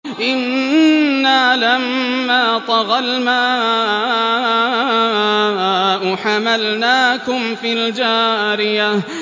إِنَّا لَمَّا طَغَى الْمَاءُ حَمَلْنَاكُمْ فِي الْجَارِيَةِ